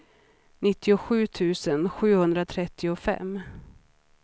nittiosju tusen sjuhundratrettiofem